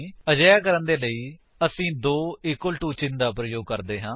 ਅਜਿਹਾ ਕਰਨ ਦੇ ਲਈ ਅਸੀ ਦੋ ਇਕਵਲ ਟੂ ਚਿੰਨ ਦਾ ਪ੍ਰਯੋਗ ਕਰਦੇ ਹਾਂ